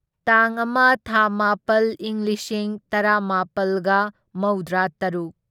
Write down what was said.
ꯇꯥꯡ ꯑꯃ ꯊꯥ ꯃꯥꯄꯜ ꯢꯪ ꯂꯤꯁꯤꯡ ꯇꯔꯥꯃꯥꯄꯜꯒ ꯃꯧꯗ꯭ꯔꯥꯇꯔꯨꯛ